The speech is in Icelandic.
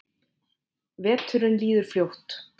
Veturinn líður fljótt.